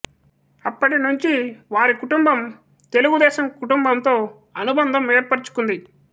అప్పటి నుంచి వారి కుటుంబం తెలుగుదేశం కుటుంబంతో అనుబంధం ఏర్పరచుకుంది